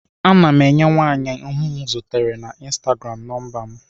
Ana m enye nwaanyị ahụ m zutere na ịnstagram nọmba m.